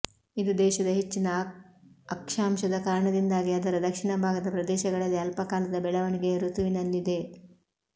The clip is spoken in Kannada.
ಇದು ದೇಶದ ಹೆಚ್ಚಿನ ಅಕ್ಷಾಂಶದ ಕಾರಣದಿಂದಾಗಿ ಅದರ ದಕ್ಷಿಣ ಭಾಗದ ಪ್ರದೇಶಗಳಲ್ಲಿ ಅಲ್ಪಕಾಲದ ಬೆಳವಣಿಗೆಯ ಋತುವಿನಲ್ಲಿದೆ